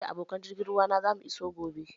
Ni da abokan jirgin ruwa na zamu iso gobe